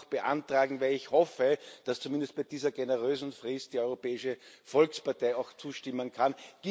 Ich werde das auch beantragen, weil ich hoffe, dass zumindest bei dieser generösen Frist auch die Europäische Volkspartei zustimmen kann.